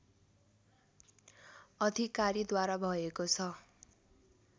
अधिकारीद्वारा भएको छ